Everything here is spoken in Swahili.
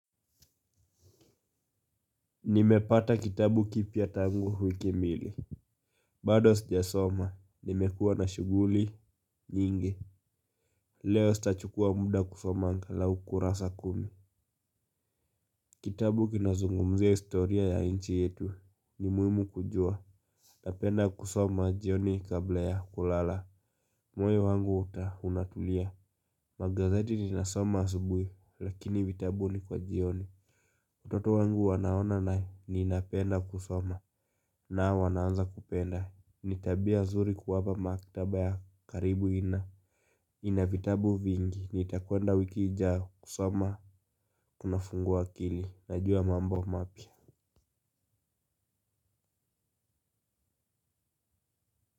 Nimepata kitabu kipya tangu wiki mbili. Bado sijasoma nimekuwa na shughuli nyingi. Leo sitachukua muda kusoma anga lau kurasa kumi. Kitabu kinazungumzia historia ya nchi yetu. Ni muhimu kujua. Napenda kusoma jioni kabla ya kulala. Moyo wangu unatulia. Magazeti ninasoma asubuhi lakini vitabu ni kwa jioni watoto wangu wanaona ninapenda kusoma nao wanaanza kupenda. Nitabia nzuri kuwapa maktaba ya karibu ina ina vitabu vingi nitakwenda wiki ijayo kusoma kuna fungua akili najua mambo mapya.